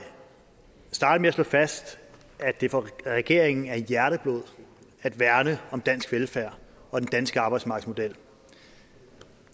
starte med at slå fast at det for regeringen er hjerteblod at værne om dansk velfærd og den danske arbejdsmarkedsmodel